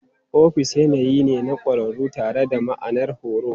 Ofis yanayi ne na ƙwararru tare da ma'anar horo.